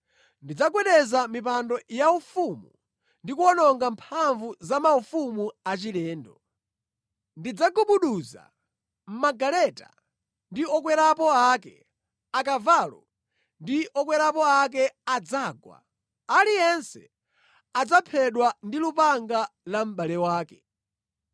Ndidzagwetsa mipando yaufumu ndi kuwononga mphamvu za maufumu achilendo. Ndidzagubuduza magaleta ndi okwerapo ake; akavalo ndi okwerapo ake adzagwa, aliyense adzaphedwa ndi lupanga la mʼbale wake.